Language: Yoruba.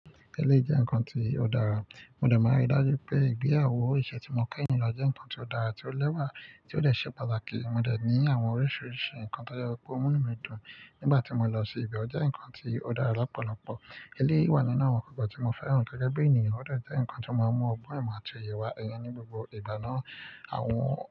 Eléyìí jẹ́ nǹkan tí ó dára. Mo dẹ̀ máa rí dájú pé ìgbéyàwó ìṣe tí mo ké yìí ló jẹ́ nǹkan tí ó dára, tí ó lẹ́wà, tí ó dè ṣe pàtàkì. Mo dẹ̀ ní àwọn oríṣiríṣi nǹkan tó jẹ pe ó mú nú mí dùn nígbà tí mo lọ sí ibẹ̀. Ó jẹ́ nǹkan tí ó dára lọ́pọ̀lọpọ̀. Eléyìí wà nínú àwọn ǹkan tí mo fẹ́ràn gẹ́gẹ́ bí ènìyàn. Ó dẹ̀ jẹ́ nǹkan tí o máa ń mú ọgbọ́n ẹ̀ mọ̀ àti òyè wa ẹyi ní gbogbo ìbàná àwọn.